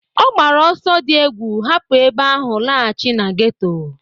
Ọ gbara ọsọ di egwu hapu ebe ahụ laghachi na geto.